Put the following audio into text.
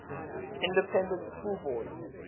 independent school board